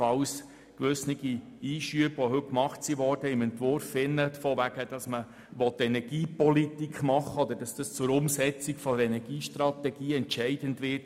Gewisse heute gemachte Einschübe haben sich auf den Entwurf bezogen und haben gelautet, man wolle Energiepolitik machen oder es werde zur Umsetzung der Energiestrategie entscheidend sein.